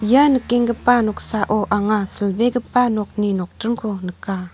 ia nikenggipa noksao anga silbegipa nokni nokdringko nika.